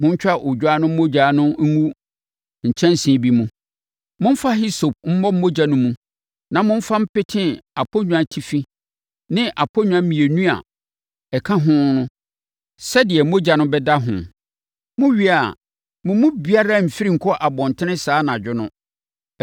Montwa odwan no mogya ngu kyɛnsee bi mu. Momfa hisope mmɔ mogya no mu na momfa mpete aponnwatifi ne aponnwa mmienu a aka no ho sɛdeɛ mogya no bɛda ho. Mowie a, mo mu biara mmfiri nkɔ abɔntene saa anadwo no.